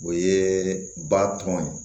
O ye ba tɔn ye